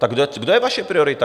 Tak kde je vaše priorita?